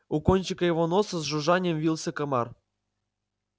у кончика его носа с жужжанием вился комар